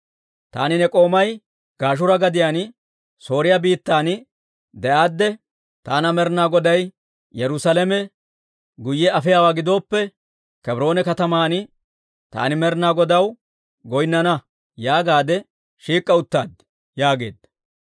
Taani ne k'oomay Gashuura gadiyaan Sooriyaa biittan de'aadde, ‹Taana Med'inaa Goday Yerusaalame guyye afiyaawaa gidooppe, Kebroone kataman taani Med'inaa Godaw goynnana› yaagaade shiik'k'a uttaad» yaageedda.